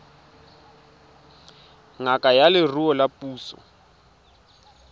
ngaka ya leruo ya puso